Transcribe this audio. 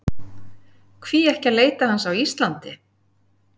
Hví ekki að leita hans á Íslandi?